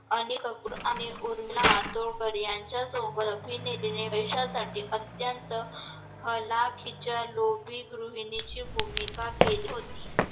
अनेक अफ्र आणि उर्मिला मातूरकर यांचा सबोत अभिनेत्रीने पैसासाठी अंतत्य हलाकीच्या लोभी गृहिनिहीची भूमिका केली होती